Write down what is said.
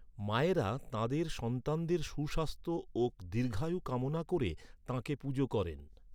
মায়েরা তাঁদের সন্তানদের সুস্বাস্থ্য ও দীর্ঘায়ু কামনা করে তাঁকে পুজো করেন।